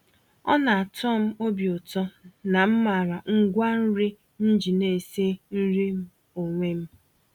Ọna atọm obi ụtọ na m màrà ngwa-nri m ji na-esi nri m onwe m.